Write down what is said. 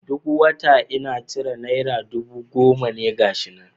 Duk wata inna cire naira dubu goma na gashi na.